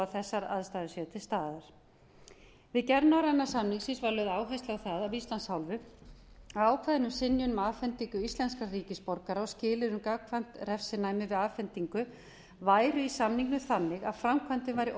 að þessar aðstæður séu til staðar við gerð norræna samningsins var lögð áhersla á það af íslands hálfu að ákvæðin um synjun um afhendingu íslenskra ríkisborgara og skilyrðið um gagnkvæmt refsinæmi við afhendingu væru í samningnum þannig að framkvæmdin væri